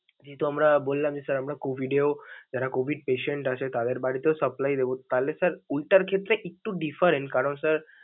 যেহেতু আমরা বললাম যে sir আমরা COVID এও যারা COVID patient আছেন, তাদের বাড়িতেও supply দেবো, তাহলে sir ওইটার ক্ষেত্রে একটু different, কারণ sir ।